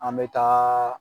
An bɛ taa